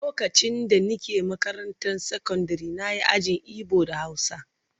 Lokacin da nake makarantar sakandare na yi ajin Igbo da Hausa